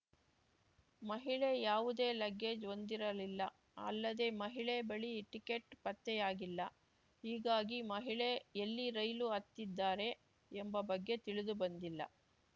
ಮಹಿಳೆ ಯಾವುದೇ ಲಗ್ಗೇಜ್‌ ಹೊಂದಿರಲಿಲ್ಲ ಅಲ್ಲದೆ ಮಹಿಳೆ ಬಳಿ ಟಿಕೆಟ್‌ ಪತ್ತೆಯಾಗಿಲ್ಲ ಹೀಗಾಗಿ ಮಹಿಳೆ ಎಲ್ಲಿ ರೈಲು ಹತ್ತಿದ್ದಾರೆ ಎಂಬ ಬಗ್ಗೆ ತಿಳಿದು ಬಂದಿಲ್ಲ